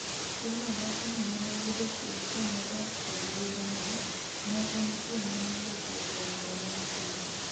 Stella wacho ni nenoyudo kwe kanodak kod yuore no, ne en kwe manobetie kuom nalo mang'eny.